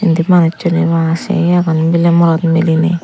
indi manussuney bwa sei agon miley morot miliney.